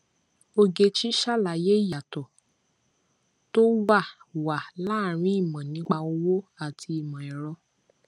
ogechi ṣàlàyé iyàtọ tó wà wà láàárín ìmọ nípa owó àti ìmọ ẹrọ